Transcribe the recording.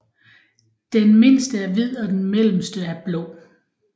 Den mindste er hvid og den mellemste er blå